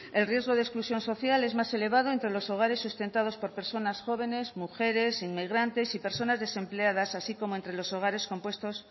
el riesgo de exclusión social es más elevado entre los hogares sustentados por personas jóvenes mujeres inmigrantes y personas desempleadas así como entre los hogares compuestos